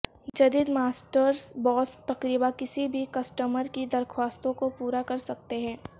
جدید ماسٹرز باس تقریبا کسی بھی کسٹمر کی درخواستوں کو پورا کر سکتے ہیں